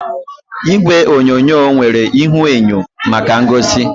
Igwe onyonyo nwere ihuenyo maka ngosi